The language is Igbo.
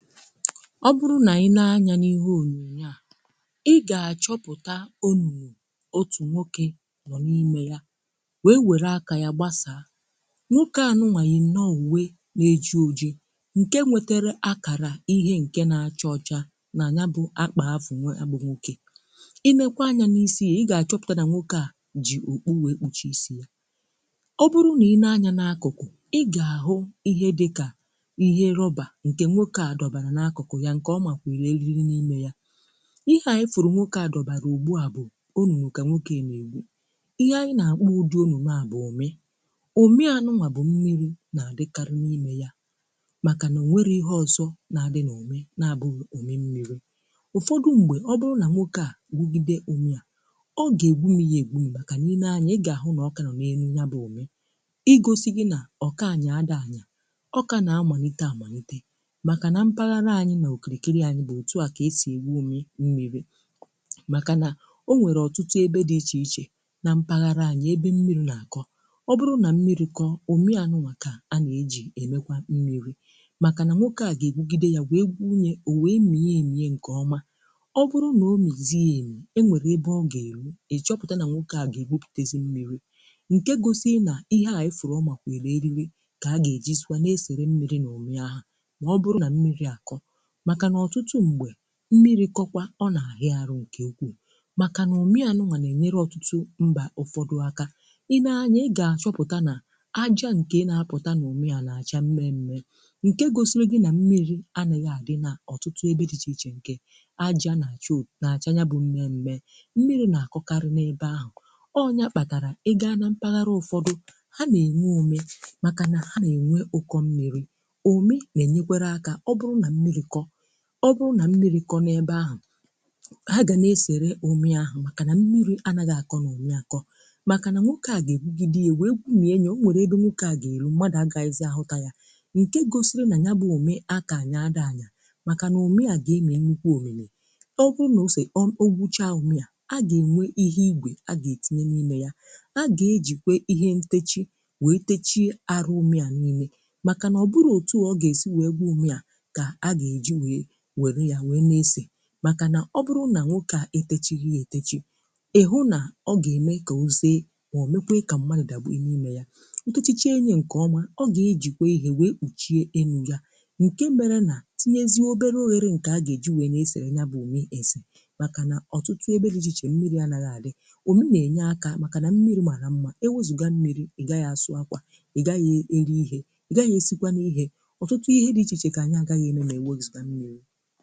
Ọ bụrụ nà i nee anya n’ihe ònyonyo à, i gà-achọpụta ọnụnụ otù nwoke nọ n’ime ya wee wère aka ya gbasà. Nwoke à nụwa yì nnọ uwe na-eji ojì ǹkè nwetere akàrà ihe ǹkè na-achọ ọcha nà ya bụ akpà afụ, yabụ nwoke. I nee kwa anya n’isi a, i gà-achọpụta nwoke à jì okpu wee kpuchè isi ya. Ọ bụrụ nà i nee anya n’akụkụ, i gà-ahụ ihe dịkà ihe rọbà nke nwoke a dọbara n'akuku ya nke ọmakwihiri eriri n'ime ya. Ihe a ịfụrụ nwoke a dọbara ugbu a bụ ọnụnụ ka nwoke a na-egwu. Ihe anyị na-akpọ ụdị ọnụnụ a bụ ụmị; ụmị anụwa bụ mmiri na-adịkarị n’ime ya màkà na o nwere ihe ọzọ na-adị n'ụmị na-abụghu ụmị mmiri. Ụfọdụ mgbe, ọ bụrụ na nwoke a gwugide ụmị a, ọ ga-egwumi ya egwumi màkà i nee anya; ị ga-ahụ na ọ ka nọ na-enu ya bụ ụmị, igosi gị na ọka anya dị anya, ọ ka na malite amalite maka na mpaghara anyi na okirikiri anyi bụ ọtụ a ka si egwu ụmị mmiri maka na o nwere ọtụtụ ebe di iche iche na mpaghara anyi ebe mmiri na kọ, ọ bụrụ na mmiri kọ, ụmị ànụwa ka na-eji emekwa mmiri maka na nwoke ga-egwugide ya wee gwu ya, o wee mie emi nke ọ ọma, ọ bụrụ na ọmizie emi, e nwere ebe ọ ga-elu, ịchọpụta na nwoke ga-egwụpụtezi mmiri, nke gọsi na ihe a ịfụrụ ọmakwighiri eriri ka aga ejizikwa na-esere mmiri n'ụmị ahụ ma ọ bụrụ na mmiri akọ maka na ọ̀tụtụ mgbe mmiri kọkwa, ọ nà-ahị arụ ǹkè nkwuù màkà nà ụmị ànụwà nà-enyere ọ̀tụtụ mbà ụfọdụ aka; ị nee anya, ị gà-achọpụta nà àjà ǹkè nà-apụta n’ụmị a nà-àcha mme mme ǹkè gosiri gị nà mmiri ànàgha àdị nà ọ̀tụtụ ebe dị ịchè ichè nkè àjà nà-àchò, nà-àcha yabụ mmè mme; mmiri nà-akọkarị n’ebe ahụ. Ọ nya kpàtàrà, ị gà nà mpàghàrà ụfọdụ, ha nà-enwe ụmị màkà nà ha nà-enwe ụkọ mmiri. Ụmị na nyekwara aka, ọ bụrụ na mmiri kọ, ọ bụrụ na mmiri kọ n’ebe ahụ, ha ga na-eserè ụmị ahụ màkà na mmiri anagha akọ n’ụmị akọ màkà nà nwoke à ga-egwugide a wee gwuminyè, o nwèrè ebe nwoke à ga-erù mmadụ àgàhizi ahụtà ya. Ǹkè gosiri nà yabụ ụmị aka anya dị anya màkà nà ụmị à ga-emi nnukwu omimi. Ọ gwu na ose um ogwucha ụmị à, a ga-enwe ihe igwè a ga-etinye n'ime ya; a ga-ejikwè ihe ntechi wee techie arụ ụmị à niile màkà nà ọ bụrọ otù ọ ga-esì wee gwu ụmị à ga aga eji wee werụ ya nwe na-ese, maka na ọ bụrụ nà nwoke a etechiri ètechi, ị hụ nà ọ ga-eme kà oze mà ọ mekwa ka m̀madụ dàgbughi n'ime ya. Ọ techịchie nye nke ọma ọ ga-ejikwa ihe wee kpùchie enu ya, nke mara nà, tinyezie obere oghere nke agà eji wee na esèrè yabụ ụmị esè màkà nà ọ̀tụtụ ebe dị ichè ichè mmiri ànàgha àdị. Ụmị na-enye aka màkà nà mmiri màra mma, ewezuga mmiri, ị gaghị asụ akwà, ị gaghị e eri ihe, ị gaghị esikwanu n’ihe, ọ̀tụtụ ihe dị ichè ichè ka anyi agaghanu emenwu ma ewezuga mmiri.